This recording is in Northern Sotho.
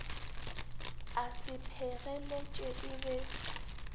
a se phegeletše e be